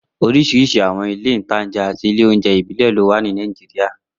Oríṣiríṣi àwọn ilé-ìtańjẹ àti ilé ìjẹun ìbílẹ̀ ló wà ní Nàìjíríyà